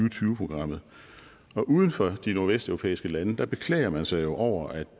og tyve progammet uden for de nordvesteuropæiske lande beklager man sig jo over at